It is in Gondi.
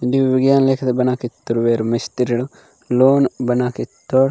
जीव विज्ञान लेके बना के तोर वेर मिस्त्रीडव लोन बना के तोर।